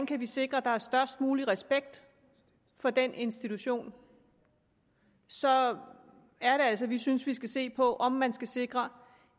kan sikre at der er størst mulig respekt for den institution så er det altså vi synes vi skal se på om man skal sikre